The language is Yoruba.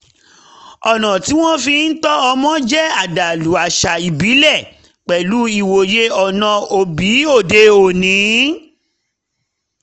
ọ̀nà tí wọ́ fi ń tọ́ ọmọ jẹ́ àdàlú àṣà ìbílẹ̀ pẹ̀lú ìwòye ọ̀nà òbí lóde òní